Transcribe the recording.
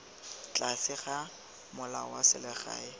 tlase ga molao wa selegae